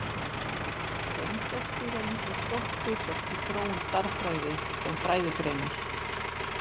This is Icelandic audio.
Reynsla spilar líka stórt hlutverk í þróun stærðfræði sem fræðigreinar.